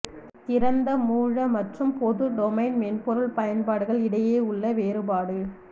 திறந்த மூல மற்றும் பொது டொமைன் மென்பொருள் பயன்பாடுகள் இடையே உள்ள வேறுபாடு